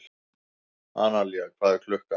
Analía, hvað er klukkan?